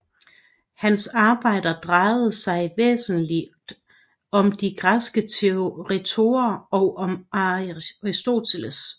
Hans arbejder drejede sig væsentlig om de græske retorer og om Aristoteles